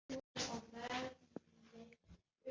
Höður, heyrðu í mér eftir tuttugu og sjö mínútur.